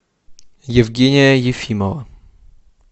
евгения ефимова